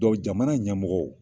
jamana ɲɛmɔgɔ